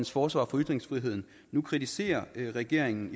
forsvar for ytringsfriheden nu kritiserer regeringen